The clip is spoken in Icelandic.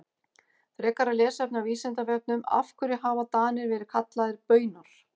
Frekara lesefni á Vísindavefnum Af hverju hafa Danir verið kallaðir Baunar?